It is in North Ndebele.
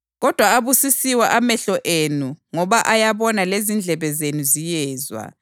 Kodwa abusisiwe amehlo enu ngoba ayabona lezindlebe zenu ziyezwa.